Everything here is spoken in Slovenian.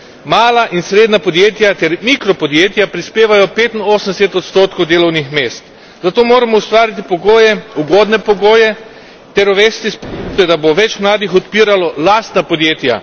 Mala in srednja podjetja ter mikropodjetja prispevajo 85 delovnih mest, zato moramo ustvariti pogoje, ugodne pogoje, ter uvesti spodbude, da bo več mladih odpiralo lastna podjetja.